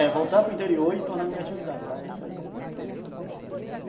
É, voltar para o interior e tornar minha atividade lá, isso aí é meu prazer, se Deus quiser.